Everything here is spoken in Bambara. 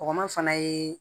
Kɔkɔma fana ye